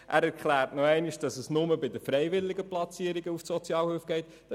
Er erklärt nochmals, dass nur die freiwilligen Platzierungen für die Sozialhilfe belastend sind.